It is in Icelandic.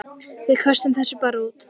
Við köstum þessu bara út.